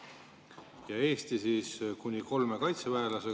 Eestile te plaanite praegu võtta mandaadi kuni kolmele kaitseväelasele.